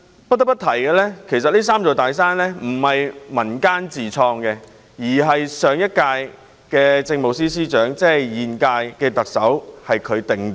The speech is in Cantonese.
不得不提的是，"三座大山"一詞並非源自民間，而是由上屆政務司司長，即現屆特首所創。